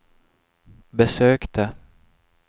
besökte